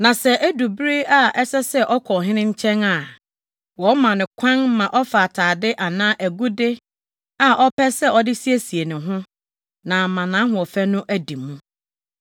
Na sɛ edu bere a ɛsɛ sɛ ɔkɔ ɔhene nkyɛn a wɔma no kwan ma ɔfa atade anaa agude a ɔpɛ sɛ ɔde siesie ne ho, na ama nʼahoɔfɛ no adi mu.